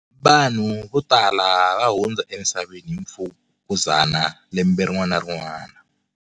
Vanhu vo tala va hundza emisaveni hi mfukuzana lembe rin'wana na rin'wana.